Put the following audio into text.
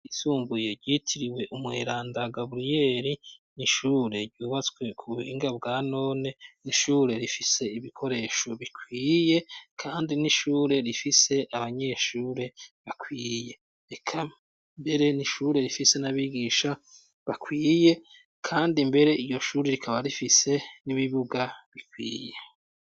Isumbuye ryitiriwe umweranda gabriyeli nishure ryubatswe ku binga bwa none n'ishure rifise ibikoresho bikwiye, kandi n'ishure rifise abanyeshure bakwiye eka mbere nishure rifise n'abigisha bakwiye, kandi mbere iyo shuri rikambwae arifise n'ibibuga bikwiye.